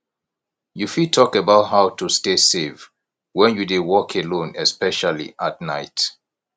you fit talk about how to stay safe when you dey walk alone especially at night